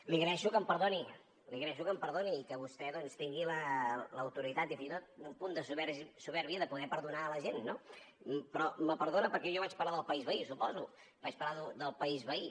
li agraeixo que em perdoni i que vostè doncs tingui l’autoritat i fins i tot un punt de supèrbia de poder perdonar la gent no però me perdona perquè jo vaig parlar del país veí suposo vaig parlar del país veí